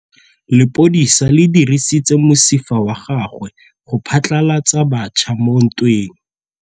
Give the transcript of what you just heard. Lepodisa le dirisitse mosifa wa gagwe go phatlalatsa batšha mo ntweng.